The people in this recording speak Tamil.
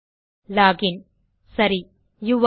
லோகின் சரி யூரே இன்